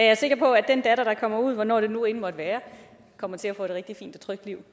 er sikker på at den datter der kommer ud hvornår det nu end måtte være kommer til at få et rigtig fint og trygt liv